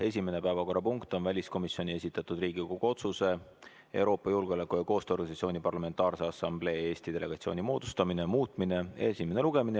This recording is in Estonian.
Esimene päevakorrapunkt on väliskomisjoni esitatud Riigikogu otsuse "Riigikogu otsuse "Euroopa Julgeoleku- ja Koostööorganisatsiooni Parlamentaarse Assamblee Eesti delegatsiooni moodustamine" muutmine" eelnõu esimene lugemine.